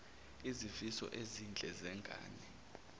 izifiso ezinhle zengane